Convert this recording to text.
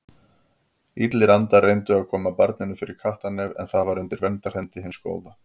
Illir andar reyndu að koma barninu fyrir kattarnef en það var undir verndarhendi hins góða.